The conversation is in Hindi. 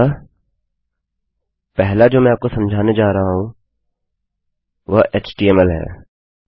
अतः पहला जो मैं आपको समझाने जा रहा हूँ वह htmlएचटीएमएलहै